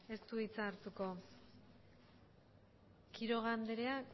ez du hitza hartuko quiroga andrea